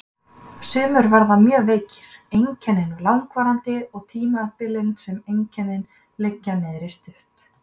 Sumir verða mjög veikir, einkennin langvarandi og tímabilin sem einkennin liggja niðri stutt.